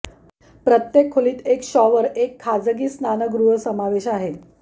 प्रत्येक खोलीत एक शॉवर एक खाजगी स्नानगृह समावेश आहे